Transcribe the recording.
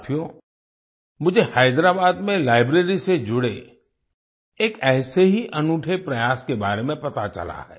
साथियो मुझे हैदराबाद में लाइब्रेरी से जुड़े एक ऐसे ही अनूठे प्रयास के बारे में पता चला है